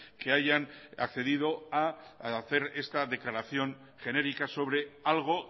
que hayan accedido a hacer esta declaración genérica sobre algo